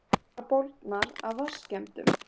Bara bólgnar af vatnsskemmdum.